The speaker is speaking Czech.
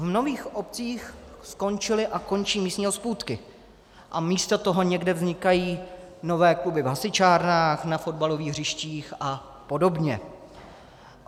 V mnohých obcích skončily a končí místní hospůdky a místo toho někde vznikají nové kluby v hasičárnách, na fotbalových hřištích a podobně.